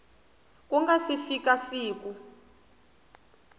ku nga si fika siku